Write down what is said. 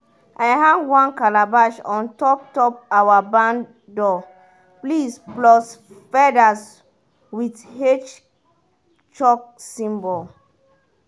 i hang one calabash on top top our barn door plus feathers will h chalk symbol.